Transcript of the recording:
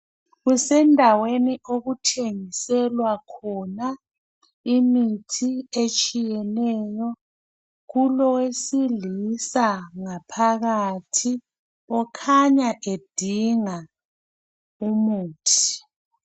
Kusendaweni okuthengiselwa khona imithi etshiyeneyo. Kulowesilisa ngaphakathi okhanya edinga imithi.